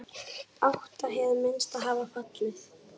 Átta hið minnsta hafa fallið.